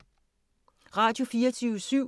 Radio24syv